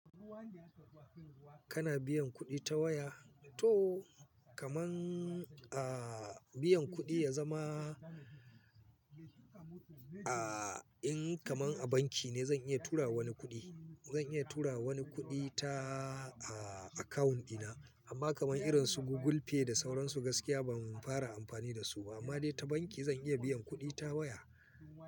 Kana biyan kuɗi ta waya? To, kaman, ah, biyan kuɗi ya zama, ah, in kamar a banki ne zan iya turawa wani kuɗi. Zan iya turawa wani kuɗi ta, ah, akawun ina. Amma kamar irin su Google Pay da sauransu gaskiya ban fara amfani da su ba, amma dai ta banki zan iya biyan kuɗi ta waya.